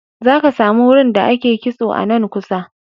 Za ka sami wurin da ake kitso a nan kusa.